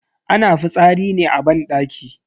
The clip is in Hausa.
Ana fitsari ne a banɗaki.